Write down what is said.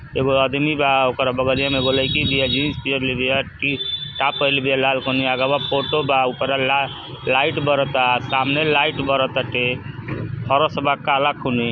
एगो अदमी बा। ओकरा बगलिया में एगो लईकी बिया। जीन्स पियरले बिया। टी टॉप पहिरले बिया लाल खोनी। आगवा फोटो बा। ऊपरा ला लाइट बरता। सामने लाइट बरताटे। फरस बा काला खूनी।